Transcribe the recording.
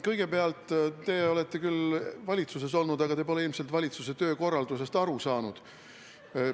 Kõigepealt, te olete küll valitsuses olnud, aga te pole ilmselt valitsuse töökorraldusest aru saanud.